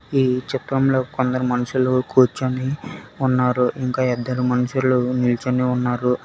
ఈ చిత్రంలో కొందరు మనుషులు కూర్చుని ఉన్నారు ఇంకా ఇద్దరు మనుషులు నిల్చొని ఉన్నారు.